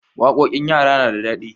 Waƙoƙin yara na da daɗi.